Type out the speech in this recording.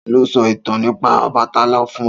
Ta ló sọ ìtàn nípa Ọbàtálá fún ọ?